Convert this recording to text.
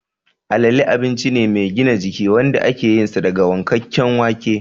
Alale abinci ne mai gina jiki wanda ake yinsa daga wankakken wake